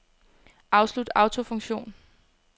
Afslut autofunktion.